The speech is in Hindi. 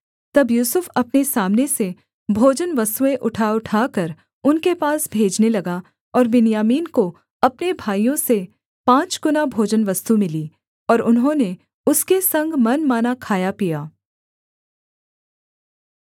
तब यूसुफ अपने सामने से भोजनवस्तुएँ उठाउठाकर उनके पास भेजने लगा और बिन्यामीन को अपने भाइयों से पाँचगुना भोजनवस्तु मिली और उन्होंने उसके संग मनमाना खाया पिया